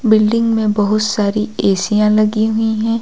Building में बहुत सारी एशिया लगी हुई हैं।